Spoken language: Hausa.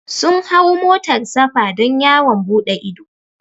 Sun hau motar safa don yawon buɗe ido